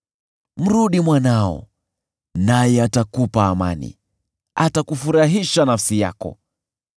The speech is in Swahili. Mrudi mwanao, naye atakupa amani, atakufurahisha nafsi yako.